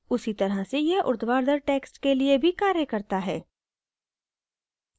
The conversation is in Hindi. उसी तरह से यह ऊर्ध्वाधर texts के लिए भी कार्य करता है